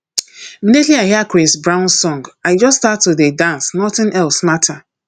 immediately i hear chris brown song i just start to dey dance nothing else matter